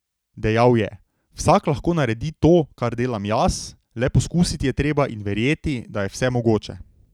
Dejal je: 'Vsak lahko naredi to, kar delam jaz, le poskusiti je treba in verjeti, da je vse mogoče.